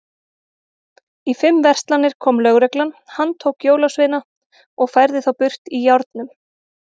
Í fimm verslanir kom lögreglan, handtók jólasveina og færði þá burt í járnum.